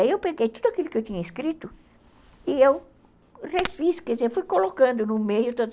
Aí eu peguei tudo aquilo que eu tinha escrito e eu refiz, quer dizer, fui colocando no meio.